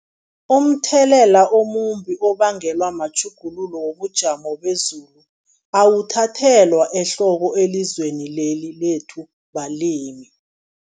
Umthelela omumbi obangelwa matjhuguluko wobujamo bezulu, awuthathelwa ehloko elizweni leli lethu balimi.